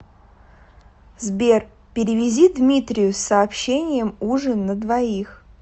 сбер перевези дмитрию с сообщением ужин на двоих